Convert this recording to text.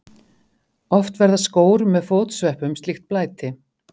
Oft verða skór með fótsveppum slíkt blæti.